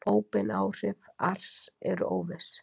óbein áhrif ars eru óviss